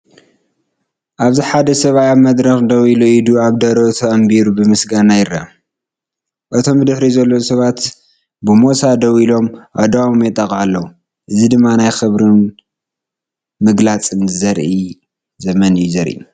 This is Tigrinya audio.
ኣብዚ ሓደ ሰብኣይ ኣብ መድረኽ ደው ኢሉ ኢዱ ኣብ ደረቱ ኣንቢሩ ብምስጋና ይርአ። እቶም ብድሕሪኡ ዘለዉ ሰባት ብሞሳ ደው ኢሎም ኣእዳዎም የጣቕዑ ኣለው። እዚ ድማ ናይ ክብርን ምግላጽን ዘመን እዩ ዘርኢ።